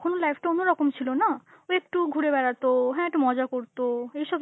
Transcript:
তখন ও life টা অন্যরকম ছিল না, একটু ঘুরে বেড়াতো, হাঁ একটু মজা করতো, এইসব